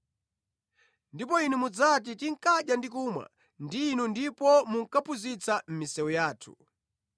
“Ndipo inu mudzati, tinkadya ndi kumwa ndi inu ndipo munkaphunzitsa mʼmisewu yathu.